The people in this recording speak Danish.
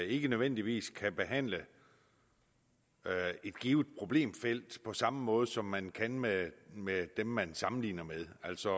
ikke nødvendigvis kan behandle et givet problemfelt på samme måde som man kan med med dem man sammenligner med altså